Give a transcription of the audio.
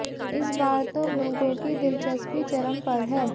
इस बार तो लोगों की दिलचस्पी चरम पर है